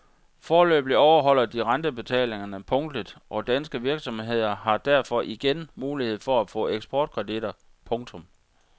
Foreløbig overholder de rentebetalingerne punktligt og danske virksomheder har derfor igen mulighed for at få ekportkreditter. punktum